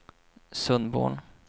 Sundborn